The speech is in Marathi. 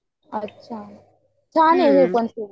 अच्छा फॅन आहे म्हणजे मग तू